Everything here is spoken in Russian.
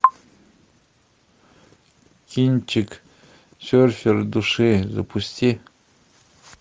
кинчик серфер души запусти